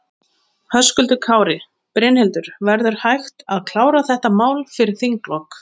Höskuldur Kári: Brynhildur, verður hægt að klára þetta mál fyrir þinglok?